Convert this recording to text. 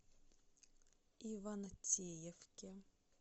ивантеевке